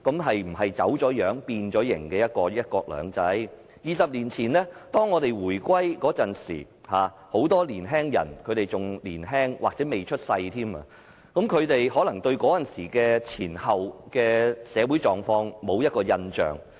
是否已走樣、變形的"一國兩制"？二十年前，當香港回歸時，很多人仍年輕或尚未出世，他們可能對回歸前後的社會狀況沒有印象。